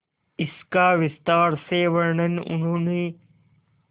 इसका विस्तार से वर्णन उन्होंने